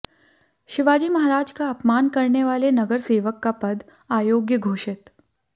शिवाजी महाराज का अपमान करने वाले नगरसेवक का पद अयोग्य घोषित